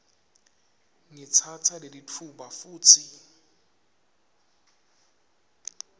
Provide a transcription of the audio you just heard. ngitsatsa lelitfuba futsi